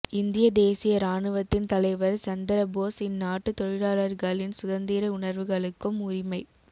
இந்திய தேசிய இராணுவத்தின் தலைவர் சந்திர போஸ் இந்நாட்டு தொழிலாளர்களின் சுதந்திர உணர்வுகளுக்கும் உரிமைப்